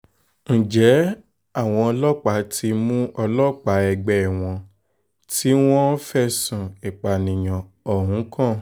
ǹjẹ́ àwọn ọlọ́pàá ti mú ọlọ́pàá ẹgbẹ́ wọn tí wọ́n fẹ̀sùn ìpànìyàn ohun kan